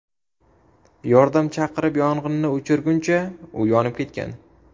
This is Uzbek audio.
Yordam chaqirib yong‘inni o‘chirguncha u yonib ketgan.